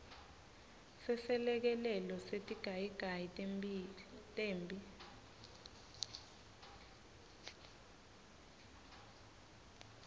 seselekelelo setigayigayi temphi